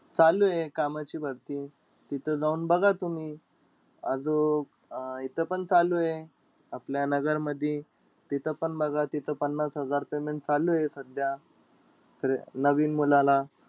चालुये कामाची भरती. तिथं जाऊन बघा तुम्ही. आजूक, अं इथं पण चालूय, आपल्या नगरमधी. तिथं पण बघा तिथं पन्नास हजार payment चालुय सध्या, नवीन मुलाला.